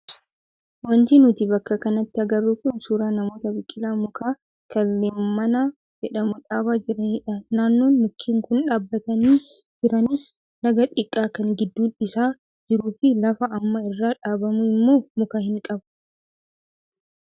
Wanti nuti bakka kanatti agarru kun suuraa namoota biqilaa mukaa kan leemmana jedhamu dhaabaa jiranidha. Naannoon mukkeen kun dhaabbatanii jiranis laga xiqqaa kan gidduun isaa jiruu fi lafa amma irra dhaabamu immoo muka hin qabu.